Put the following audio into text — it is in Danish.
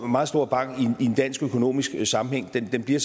meget stor bank i en dansk økonomisk sammenhæng men den bliver